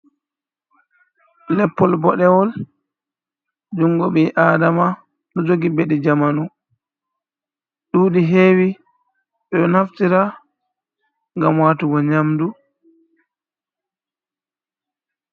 Leppol Bodewol. Jungo Ɓi Adama Ɗou Jogi Bedi Jamanu, Duɗi Hewi Ɓeɗou Naftira Ngam Watugo Nyamdu.